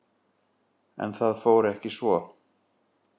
En það fór ekki svo.